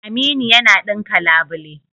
Aminu yana ɗinka labule.